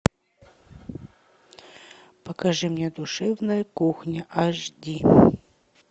покажи мне душевная кухня аш ди